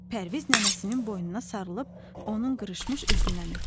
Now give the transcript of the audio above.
Pərviz nənəsinin boynuna sarılıb onun qırışmış üzündən öpdü.